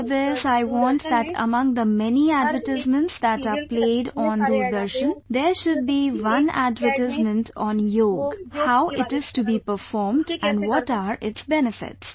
For this I want that among the many ads that are played on Doordarshan, there should be one ad on Yoga, how it is to be done, and what are its benefits